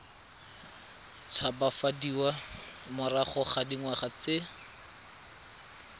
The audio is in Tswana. tshabafadiwa morago ga dingwaga di